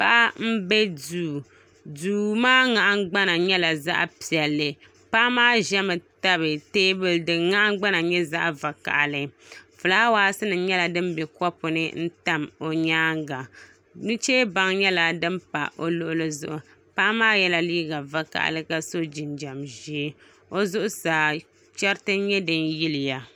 Paɣa n bɛ duu duu maa nahangbana nyɛla zaɣ piɛlli paɣa maa ʒɛmi tabi teebuli din nahangbana nyɛ zaɣ vakaɣali fulaawaasi nuchee baŋ nyɛla din pa o luɣuli zuɣu nim nyɛla din bɛ kopu ni n tam o nyaanga nuche baŋ nyɛla din pa o luɣuli zuɣu paɣa maa yɛla liiga vakaɣali ka so jinjɛm ʒiɛ o zuɣasaa chɛriti n nyɛ din yiliya